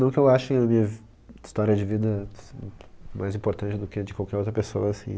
Não que eu ache a minha história de vida, ser, mais importante do que a de qualquer outra pessoa, assim.